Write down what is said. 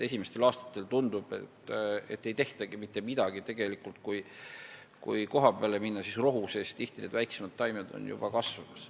Esimestel aastatel tundub, et ei olegi mitte midagi tehtud, tegelikult, kui kohapeale minna, siis võib rohu sees tihti neid väiksemaid taimi näha juba kasvamas.